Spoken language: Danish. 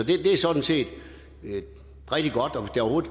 det er sådan set rigtig godt og